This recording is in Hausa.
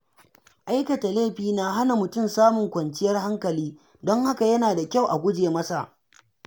Aikata laifi na hana mutum samun kwanciyar hankali, don haka yana da kyau a guje masa.